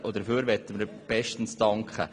Dafür möchten wir bestens danken.